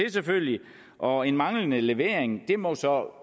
selvfølgelig og en manglende levering må så